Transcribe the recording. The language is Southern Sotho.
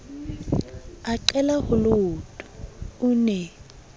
a qela holeoto o ne